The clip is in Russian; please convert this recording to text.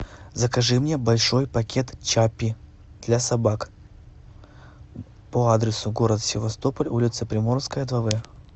закажи мне большой пакет чаппи для собак по адресу город севастополь улица приморская два в